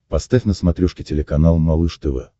поставь на смотрешке телеканал малыш тв